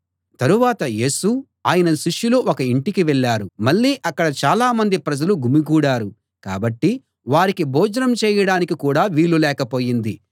తరువాత యేసు ఆయన శిష్యులు ఒక ఇంటికి వెళ్ళారు మళ్ళీ అక్కడ చాలా మంది ప్రజలు గుమికూడారు కాబట్టి వారికి భోజనం చేయడానికి కూడా వీలు లేకపోయింది